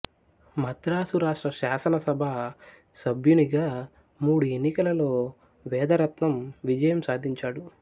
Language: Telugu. మద్రాసు రాష్ట్ర శాసనసభ సభ్యునిగా మూడు ఎన్నికలలో వేదరత్నం విజయం సాధించాడు